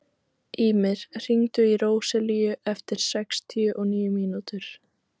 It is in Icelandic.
Ýmir, hringdu í Róselíu eftir sextíu og níu mínútur.